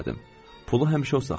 Pulu həmişə o saxlayırdı.